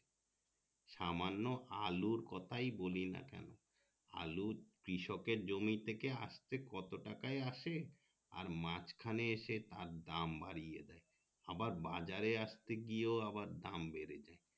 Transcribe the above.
সামান্য আলুর কথাই বলিনা কেনো আলু কৃষকের জমি থেকে আস্তে কত টাকাই আসে আর মাজখানে এসে তার দাম বাড়িয়ে দেয় আবার বাজারে আস্তে গিয়েও আবার দাম বেড়ে যাই